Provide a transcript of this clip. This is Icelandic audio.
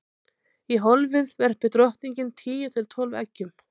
í hólfið verpir drottningin tíu til tólf eggjum